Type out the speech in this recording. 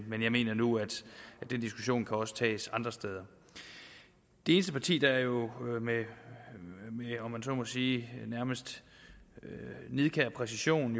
men jeg mener nu at den diskussion også kan tages andre steder det eneste parti der jo med om man så må sige nærmest nidkær præcision